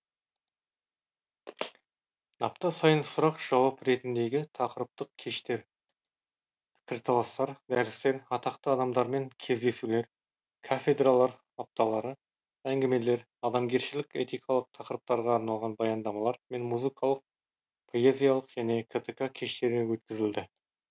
апта сайын сұрақ жауап ретіндегі тақырыптық кештер пікірталастар дәрістер атақты адамдармен кездесулер кафедралар апталары әңгімелер адамгершілік этикалық тақырыптарға арналған баяндамалар мен музыкалық поэзиялық және ктк кештері өткізілді